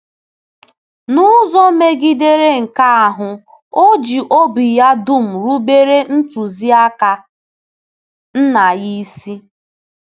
N’ụzọ megidere nke ahụ, o ji obi ya dum rubere ntụziaka Nna ya isi.